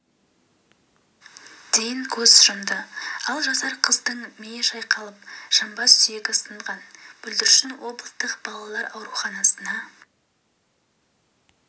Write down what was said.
дейін көз жұмды ал жасар қыздың миы шайқалып жамбас сүйегі сынған бүлдіршін облыстық балалар ауруханасына